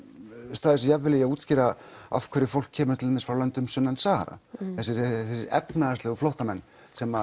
staðið sig jafn vel í að útskýra af hverju fólk kemur til dæmis frá löndum sunnan Sahara þessir efnahagslegu flóttamenn sem